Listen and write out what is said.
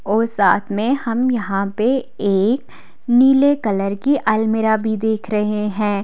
ओर साथ में हम यहां पे एक नीले कलर की अलमीरा भी देख रहे हैं।